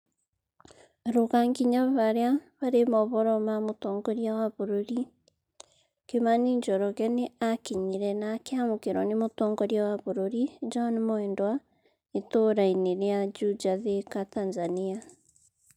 Ruga nginya harĩa harĩ ũhoro wa mũtongoria wa bũrũri kimani njoroge nĩ akinyire na akĩamũkĩrwo nĩ Mũtongoria wa bũrũri John Mwendwa itũũrainĩ rĩa Juja, Thika, Tanzania".